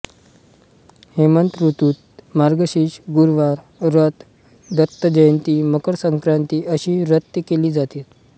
हेमंत ऋतूत मार्गशीर्ष गुरुवार व्रत दत्त जयंती मकर संक्रांती अशी व्रते केली जातात